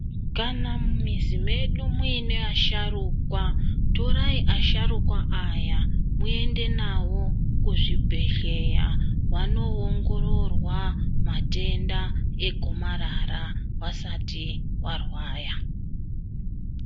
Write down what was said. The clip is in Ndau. Kana mumizinmedu muine asharukwa, torai asharukwa aya, muende navo kuzvibhedhleya vanoongororwa matenda egomarara vasati varwaya .